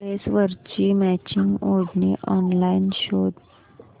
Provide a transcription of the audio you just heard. ड्रेसवरची मॅचिंग ओढणी ऑनलाइन शोध